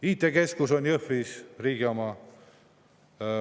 IT-keskus on Jõhvis, riigi oma.